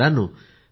मित्रांनो